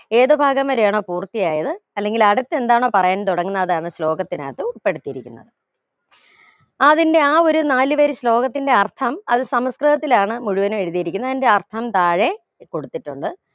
ഏതു ഭാഗം വരെയാണോ പൂർത്തിയായത് അല്ലെങ്കിൽ അടുത്തെ എന്താണോ പറയാൻ തുടങ്ങുന്നതാണ് ശ്ലോകത്തിനകത്തു ൾപ്പെടുത്തിയിരിക്കുന്നത് അതിന്റെ ആ ഒരു നാല് വരി ശ്ലോകത്തിന്റെ അർഥം അത് സംസ്കൃതത്തിലാണ് മുഴുവനും എഴുതിയിരിക്കുന്നത് അതിന്റെ അർഥം താഴെ കൊടുത്തിട്ടുണ്ട്